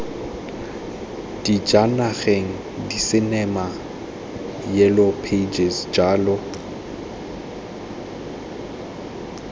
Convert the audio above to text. dijanageng disinema yellow pages jalo